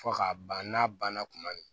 Fo k'a ban n'a banna kuma min